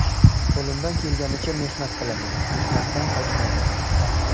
Qo‘limdan kelganicha mehnat qilaman, mehnatdan qochmaganman.